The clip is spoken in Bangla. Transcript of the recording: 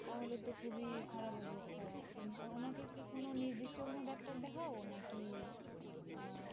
তাহলে তো খুবই খারাপ অবস্থা, উনাকে কি কোন নির্দিষ্ট কোন ডাক্তার দেখাও নাকি আহ